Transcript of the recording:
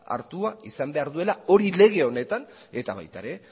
hartua izan behar duela hori lege honetan eta baita ere